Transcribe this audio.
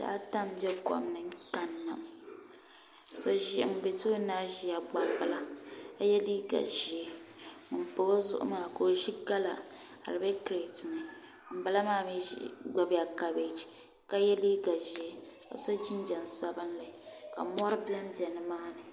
bihi ata n bɛ kom ni kanna ŋun bɛ tooni kaa ʒila gbambila ka yɛ liiga ʒiɛ ŋun pa o zuɣu maa ka o ʒi gala ka di bɛ kirɛt ni ŋunbala maa mii gbunila kabɛji ka yɛ liiga ʒiɛ ka so jinjɛm sabinli ka mɔri bɛnbɛ nimaani